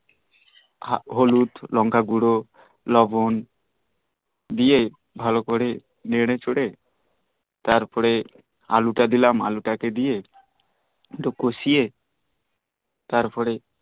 হলুদ লঙ্কা গুর লবন দিয়ে ভাল করে নেরে চেরে তারপরে আলু টা কে দিলাম আলু দিয়ে একটু কষিয়ে তারপরে